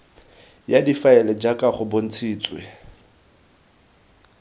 ya difaele jaaka go bontshitswe